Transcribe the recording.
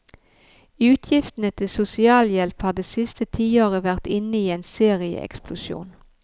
Utgiftene til sosialhjelp har det siste tiåret vært inne i en serieeksplosjon.